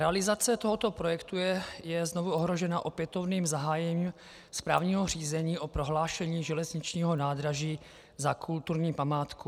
Realizace tohoto projektu je znovu ohrožena opětovným zahájením správního řízení o prohlášení železničního nádraží za kulturní památku.